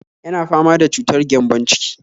Yana fama da cutar gyambon-ciki